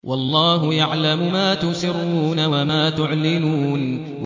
وَاللَّهُ يَعْلَمُ مَا تُسِرُّونَ وَمَا تُعْلِنُونَ